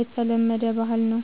የተለመደ ባህል ነዉ